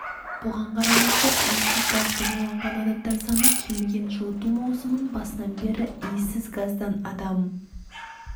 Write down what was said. бұған қарамастан иіссіз газбен уланған адамдар саны кеміген жылыту маусымының басынан бері иіссіз газдан адам